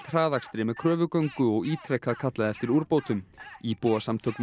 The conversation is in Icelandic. hraðakstri með kröfugöngu og ítrekað kallað eftir úrbótum íbúasamtök